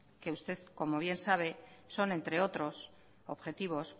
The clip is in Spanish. que usted como bien sabe son entre otros objetivos